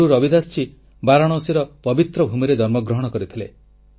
ଗୁରୁ ରବିଦାସ ବାରାଣସୀର ପବିତ୍ର ଭୂମିରେ ଜନ୍ମଗ୍ରହଣ କରିଥିଲେ